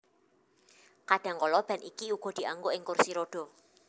Kadhangkala ban iki uga dianggo ing kursi rodha